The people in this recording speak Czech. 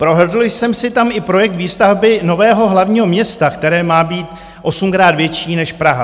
Prohlédl jsem si tam i projekt výstavby nového hlavního města, které má být osmkrát větší než Praha.